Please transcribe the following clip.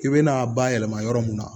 I bɛna a bayɛlɛma yɔrɔ mun na